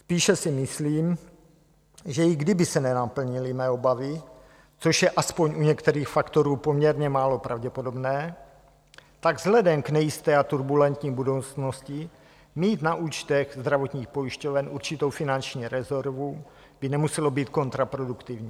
Spíše si myslím, že i kdyby se nenaplnily mé obavy, což je aspoň u některých faktorů poměrně málo pravděpodobné, tak vzhledem k nejisté a turbulentní budoucnosti mít na účtech zdravotních pojišťoven určitou finanční rezervu by nemuselo být kontraproduktivní.